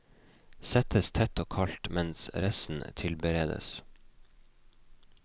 Settes tett og kaldt mens resten tilberedes.